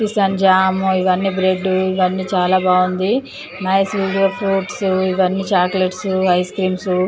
Kisan jam ఇవన్నీ bread ఇవన్నీ చాలా బాగుంది నైస్ వీడియో ఫ్రూట్స్ ఇవన్నీ చాక్లెట్స్ ఐస్ క్రీమ్స్.